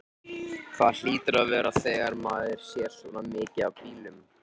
Það hlýtur að vera þegar maður sér svona mikið af bílum.